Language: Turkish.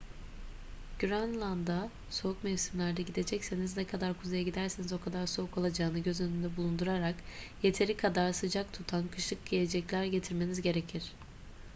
grönland'a soğuk mevsimlerde gidecekseniz ne kadar kuzeye giderseniz o kadar soğuk olacağını göz önünde bulundurarak yeteri kadar sıcak tutan kışlık giyecekler getirmeniz gerekir